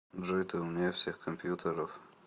джой ты умнее всех компьютеров